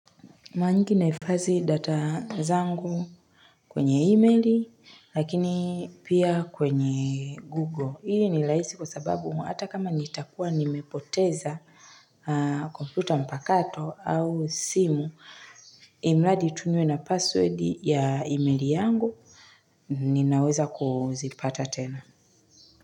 Maanake nahifadhi data zangu kwenye email, lakini pia kwenye Google. Hili ni rahisi kwa sababu, hata kama nitakuwa nimepoteza kompyuta mpakato au simu, imradi tu niwe na password ya emaili yangu, ninaweza kuzipata tena.